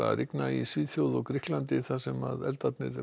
að rigna í Svíþjóð og Grikklandi þar sem eldar